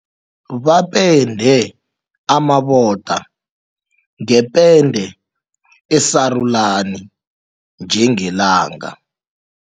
Bapende amaboda ngepende esarulani njengelanga.